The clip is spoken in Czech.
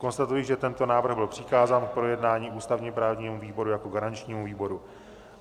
Konstatuji, že tento návrh byl přikázán k projednání ústavně-právnímu výboru jako garančnímu výboru.